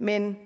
men